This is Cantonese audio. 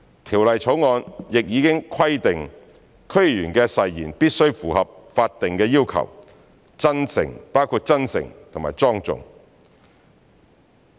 《條例草案》亦已規定區議員的誓言必須符合法定要求，包括真誠、莊重。